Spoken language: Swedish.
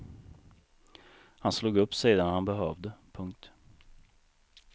Han slog upp sidan han behövde. punkt